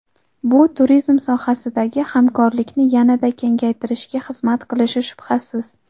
Bu turizm sohasidagi hamkorlikni yanada kengaytirishga xizmat qilishi shubhasiz.